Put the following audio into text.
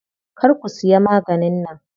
Kar ku siya maganin nan.